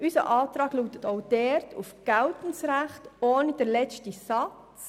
Unser Antrag lautet auch dort auf geltendes Recht ohne den letzten Satz.